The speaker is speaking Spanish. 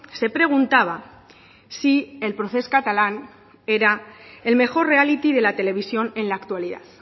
se preguntaba si el procés catalán era el mejor reality de la televisión en la actualidad